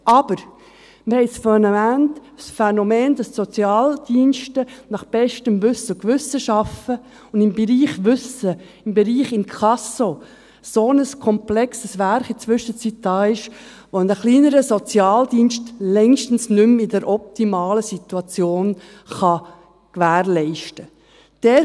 Aber – wir haben es vorhin erwähnt – wir haben das Phänomen, dass die Sozialdienste nach bestem Wissen und Gewissen arbeiten, und im Bereich Wissen, im Bereich Inkasso in der Zwischenzeit ein so komplexes Werk vorhanden ist, sodass es ein kleiner Sozialdienst längstens nicht mehr in der optimalen Situation gewährleisten kann.